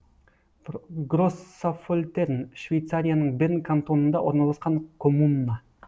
гроссаффольтерн швейцарияның берн кантонында орналасқан коммуна